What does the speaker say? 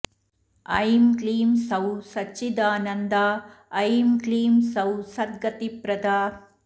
ऐं क्लीं सौः सच्चिदानन्दा ऐं क्लीं सौः सद्गतिप्रदा